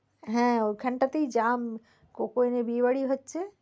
হ্যাঁ ওখান টা তেই jam coke oven এ বিয়েবাড়ি হচ্ছে।